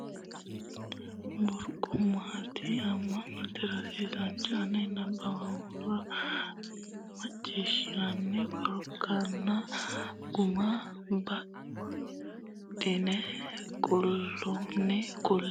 Koru qarqaru agarooshshi hoogate Gumu kayinni way burquuqamaati Aantete rosiisaanchi o ne nabbawannore nabbabbannore macciishshatenni koranna guma baddine qaalunni kulle.